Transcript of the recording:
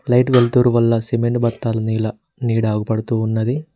Light వెల్తూరు వల్ల cement బస్తాలు నీల నీడ ఆగబడుతున్నది.